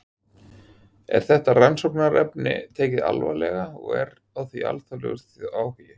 Er þetta rannsóknarefni tekið alvarlega og er á því alþjóðlegur áhugi?